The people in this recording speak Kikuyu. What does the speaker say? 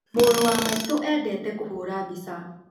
Mũrũ wa maitũ endete kũhũra mbica